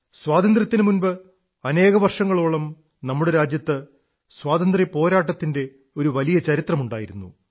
സ്വാതന്ത്ര്യത്തിനു മുമ്പ് അനേകം വർഷങ്ങളോളം നമ്മുടെ രാജ്യത്ത് സ്വാതന്ത്ര്യപ്പോരാട്ടത്തിന്റെ ഒരു വലിയ ചരിത്രമുണ്ടായിരുന്നു